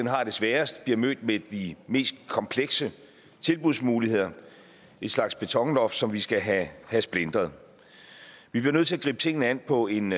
har det sværest bliver mødt med de mest komplekse tilbudsmuligheder en slags betonloft som vi skal have splintret vi bliver nødt til at gribe tingene an på en